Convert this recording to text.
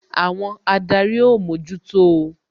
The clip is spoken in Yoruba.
Àwọn adarí ó mójútó o